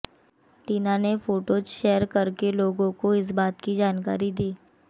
टीना ने photos share करके लोगों को इस बात की जानकारी दी